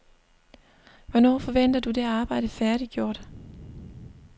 Hvornår forventer du det arbejde færdiggjort?